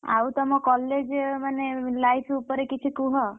ଆଉ ତମ college ମାନେ life ଉପରେ କିଛି କୁହ।